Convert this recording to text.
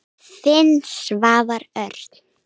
Þinn, Svavar Örn.